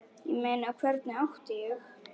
Ég meina, hvernig átti ég.?